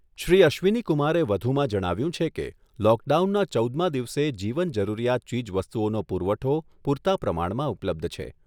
શ્રી અશ્વિનીકુમારે વધુમાં જણાવ્યુંં છે કે, લોકડાઉનના ચૌદમા દિવસે જીવન જરૂરિયાત ચીજવસ્તુઓનો પુરવઠો પુરતા પ્રમાણમાં ઉપલબ્ધ છે.